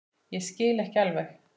Ég skil ekki alveg